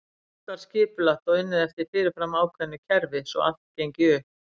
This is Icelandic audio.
Allt var skipulagt og unnið eftir fyrirfram ákveðu kerfi svo allt gengi upp.